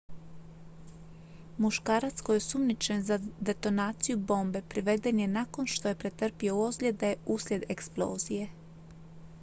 muškarac koji je osumnjičen za detonaciju bombe priveden je nakon što je pretrpio ozljede uslijed eksplozije